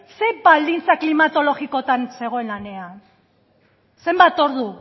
zer baldintza klimatologikotan zegoen lanean zenbat ordu